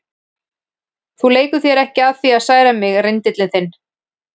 Þú leikur þér ekki að því að særa mig, rindillinn þinn.